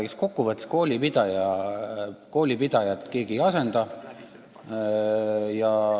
Ega kokku võttes koolipidajat keegi ei asenda.